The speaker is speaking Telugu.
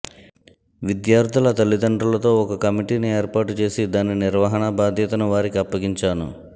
విద్యార్థుల తల్లిదండ్రులతో ఒక కమిటీని ఏర్పాటు చేసి దాని నిర్వహణ బాధ్యతను వారికి అప్పగించాను